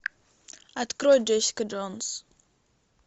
открой джессика джонс